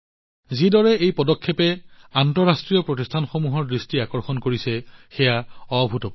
যিদৰে এই পদক্ষেপে আন্তঃৰাষ্ট্ৰীয় প্ৰতিষ্ঠানসমূহৰ দৃষ্টি আকৰ্ষণ কৰিছে সেয়া অভূতপূৰ্ব